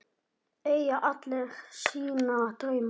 Eiga ekki allir sína drauma?